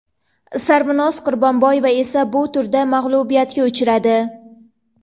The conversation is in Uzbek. Sarvinoz Qurbonboyeva esa bu turda mag‘lubiyatga uchradi.